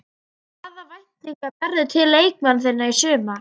Hvaða væntingar berðu til leikmanna þinna í sumar?